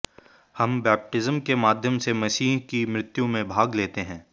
हम बैपटिज्म के माध्यम से मसीह की मृत्यु में भाग लेते हैं